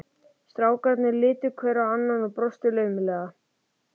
Strákarnir litu hver á annan og brostu laumulega.